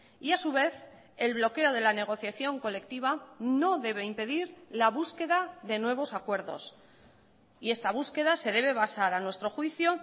y a su vez el bloqueo de la negociación colectiva no debe impedir la búsqueda de nuevos acuerdos y esta búsqueda se debe basar a nuestro juicio